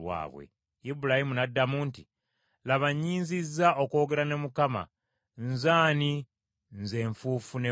Ibulayimu n’addamu nti, “Laba nnyinziza okwogera ne Mukama, nze ani, nze enfuufu n’evvu!